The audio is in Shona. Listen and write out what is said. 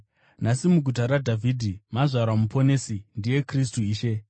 Nhasi muguta raDhavhidhi mazvarwa Muponesi; ndiye Kristu Ishe.